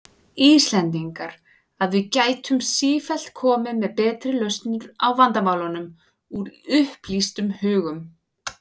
Íslendingar, að við gætum sífellt komið með betri lausnir á vandamálum, úr upplýstum hugum.